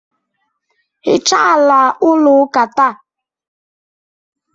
hichaa ala ụlọ ụka taa